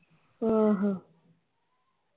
ਆਹੋ